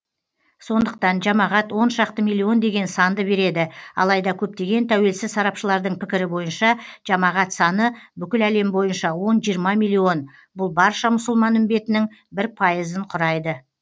сондықтан жамағат оншақты миллион деген санды береді алайда көптеген тәуелсіз сарапшылардың пікірі бойынша жамағат саны бүкіләлем бойынша он жиырма миллион бұл барша мұсылман үмбетінің бір пайызды құрайды